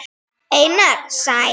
Einar Sæm.